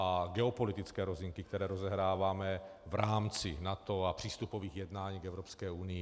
A geopolitické rozinky, které rozehráváme v rámci NATO a přístupových jednání k Evropské unii.